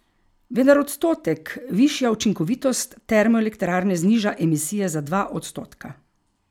Vendar odstotek višja učinkovitost termoelektrarne zniža emisije za dva odstotka.